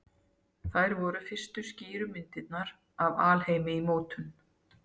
Þær voru fyrstu skýru myndirnar af alheimi í mótun.